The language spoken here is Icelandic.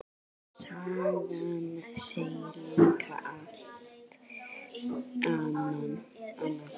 Sagan segir líka allt annað.